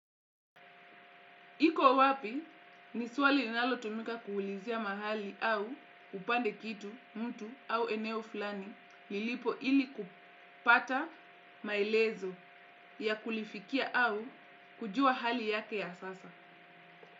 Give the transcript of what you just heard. Iko wapi? Ni swali linalotumika kuulizia mahali au upande kitu, mtu au eneo fulani lilipo ili kupata maelezo ya kulifikia au kujua hali yake ya sasa.